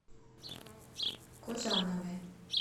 кожановой